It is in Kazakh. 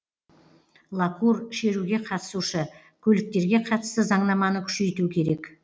лакур шеруге қатысушы көліктерге қатысты заңнаманы күшейту керек